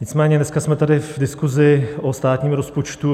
Nicméně dneska jsme tady v diskusi o státním rozpočtu.